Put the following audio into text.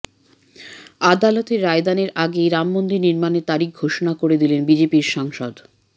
আদালতের রায়দানের আগেই রাম মন্দির নির্মাণের তারিখ ঘোষণা করে দিলেন বিজেপির সাংসদ